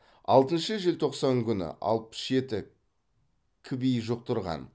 алтыншы желтоқсан күні алпыс жеті кви жұқтырған